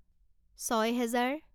ছয় হেজাৰ